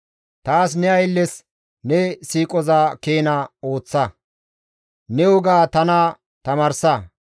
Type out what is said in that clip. Taas ne aylles ne siiqoza keena ooththa; ne woga tana tamaarsa.